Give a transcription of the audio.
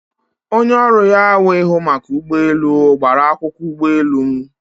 Onye ọrụ ya wụ ihụ maka ụgbọ elu gbara akwụkwọ ụgbọ elu m